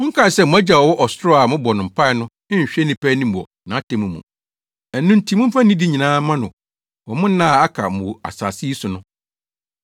Monkae sɛ mo Agya a ɔwɔ ɔsoro a mobɔ no mpae no nhwɛ nnipa anim wɔ nʼatemmu mu. Ɛno nti momfa nidi nyinaa mma no wɔ mo nna a aka mo wɔ asase yi so no.